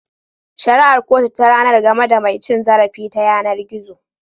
Shari'ar kotu ta ranar game da mai cin zarafi ta yanar gizo.